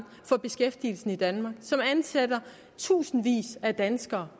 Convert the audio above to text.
for beskæftigelsen i danmark og som ansætter tusindvis af danskere